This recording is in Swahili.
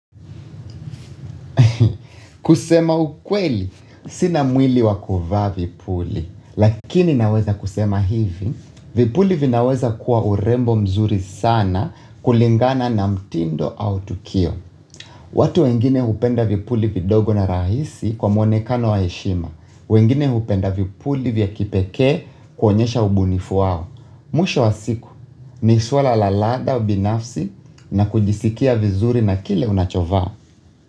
Kusema ukweli, sina mwili wa kuvaa vipuli, lakini naweza kusema hivi, vipuli vinaweza kuwa urembo mzuri sana kulingana na mtindo au tukio. Watu wengine hupenda vipuli vidogo na rahisi kwa mwonekano wa heshima, wengine hupenda vipuli vya kipekee kuonyesha ubunifu wao. Mwisho wa siku, ni suala la ladha binafsi na kujisikia vizuri na kile unachovaa.